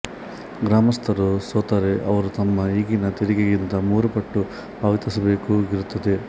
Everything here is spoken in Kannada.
ಗ್ರಾಮಸ್ಥರು ಸೋತರೆ ಅವರು ತಮ್ಮ ಈಗಿನ ತೆರಿಗೆಗಿಂತ ಮೂರು ಪಟ್ಟು ಪಾವತಿಸಬೇಕಾಗಿರುತ್ತದೆ